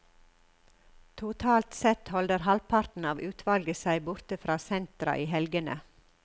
Totalt sett holder halvparten av utvalget seg borte fra sentra i helgene.